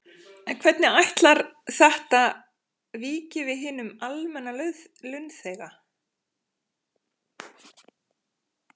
En hvernig ætlar þetta víki við hinum almenna launþega?